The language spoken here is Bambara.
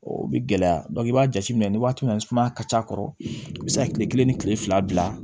O bɛ gɛlɛya i b'a jateminɛ ni waati min sumaya ka c'a kɔrɔ i bɛ se ka kile kelen ni kile fila bila